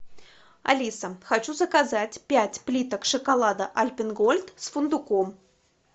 алиса хочу заказать пять плиток шоколада альпен гольд с фундуком